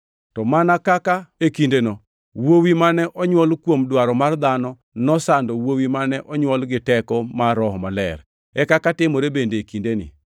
To mana kaka e kindeno wuowi mane onywol kuom dwaro mar dhano nosando wuowi mane onywol gi teko mar Roho Maler, e kaka timore bende e kindeni.